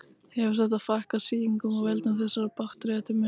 Hefur þetta fækkað sýkingum af völdum þessara baktería til muna.